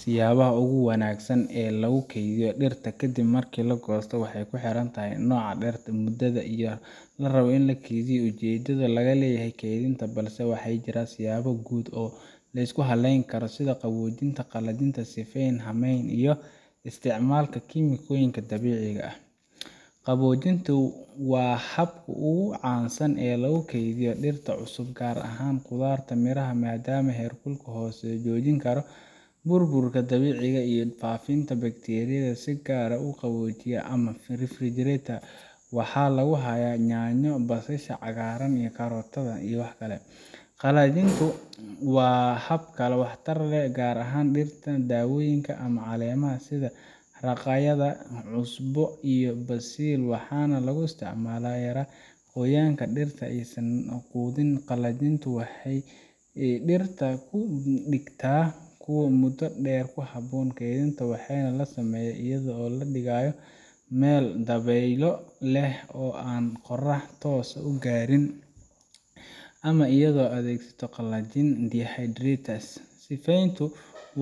siyaabaha ugu wanaagsan ee lagu kaydiyo dhirta kadib markii la goosto waxay ku xirnaan karaan nooca dhirta, muddada la rabo in la kaydiyo, iyo ujeedada laga leeyahay kaydinta balse waxaa jira siyaabo guud oo la isku halleyn karo sida qaboojin, qalajin, sifeyn, haamayn, iyo isticmaalka kiimikooyin dabiici ah qaboojintu waa habka ugu caansan ee lagu kaydiyo dhirta cusub gaar ahaan khudaarta iyo miraha maadaama heerkulka hoose uu joojin karo burburka dabiiciga ah iyo faafitaanka bakteeriyada si gaar ah qaboojiyaha ama refrigerator waxaa lagu hayaa yaanyo, basasha cagaaran, karootada, qalajintu waa hab waxtar leh gaar ahaan dhirta dawooyinka ama caleemaha sida raqayga, kusbo, iyo basil waxaana loo isticmaalaa in la yareeyo qoyaanka dhirta si aysan u qudhmin qalajintu waxay dhirta ka dhigtaa kuwo muddo dheer ku habboon kaydinta waxaana la sameeyaa iyadoo la dhigayo meel dabeylo leh oo aan qorrax toos ah gaarin ama iyadoo la adeegsado qalajiyaha dehydrator sifeyntu